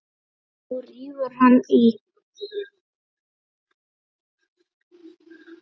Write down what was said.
Og nú rífur hann í.